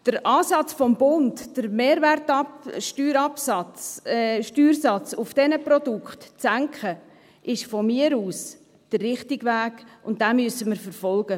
Der Ansatz des Bundes, den Mehrwertsteuersatz auf diesen Produkten zu senken, ist meiner Meinung nach der richtige Weg, und den müssen wir verfolgen.